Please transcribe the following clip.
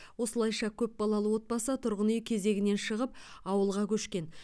осылайша көпбалалы отбасы тұрғын үй кезегінен шығып ауылға көшкен